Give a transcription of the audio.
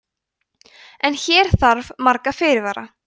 en hér þarf marga fyrirvara